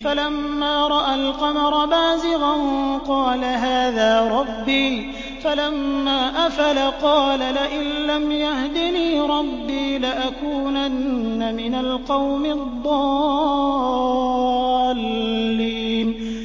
فَلَمَّا رَأَى الْقَمَرَ بَازِغًا قَالَ هَٰذَا رَبِّي ۖ فَلَمَّا أَفَلَ قَالَ لَئِن لَّمْ يَهْدِنِي رَبِّي لَأَكُونَنَّ مِنَ الْقَوْمِ الضَّالِّينَ